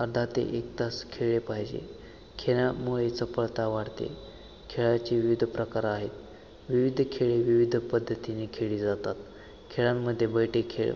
अर्धा ते एक तास खेळले पाहिजे खेळामुळे चपळता वाढते खेळाचे विविध प्रकार आहेत विविध खेळ विविध पध्दतीने खेळले जातात खेळांमध्ये बैठी खेळ